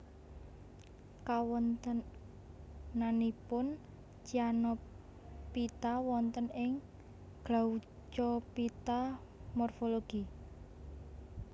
Kawontenanipun Cyanophyta wonten ing Glaucophyta morfologi